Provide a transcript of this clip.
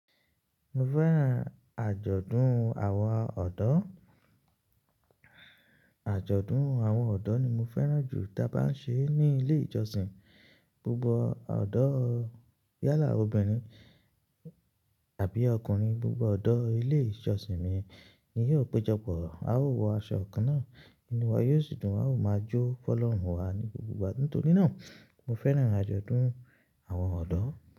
Mo fẹ́ràn àjọ̀dún àwọn ọ̀dọ́. Àjọ̀dún àwọn ọ̀dọ́ ni mo fẹ́ràn jù tí a bá ń ṣe ní ilé ìjọsìn. Gbogbo ọ̀dọ́ yálà obìnrin àbí ọkùnrin, gbogbo ọ̀dọ́ ilé ìjọsìn mi ni yóò péjọpọ̀. A ó wọ aṣọ kan náà, inu wa yóò sì dùn, a ó máa jó fọlọ́run wá ní gbogbo ìgbà. Nítorí náà, mo fẹ́ràn àjọ̀dún àwọn ọ̀dọ́.